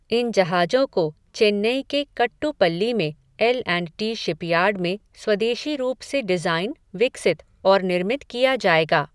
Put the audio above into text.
इन जहाजों को चेन्नई के कट्टुपल्ली में एलऐंटी शिपयार्ड में स्वदेशी रूप से डिज़ाइन, विकसित और निर्मित किया जाएगा।